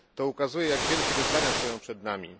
Ukazuje to, jak wielkie wyzwania stoją przed nami.